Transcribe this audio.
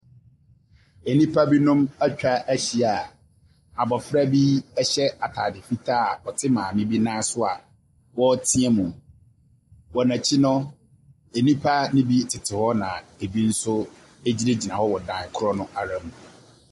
Ɛnipa binom atwa ahyia abɔfra bi ɛhyɛ ataade fitaa a ɔte maame bi nan so a wɔɔ teamuu. Wɔ nakyi no, ɛnipa ne bi tete hɔ na ɛbi nso ɛgyinagyina hɔ wɔ dan korɔ no ara mu.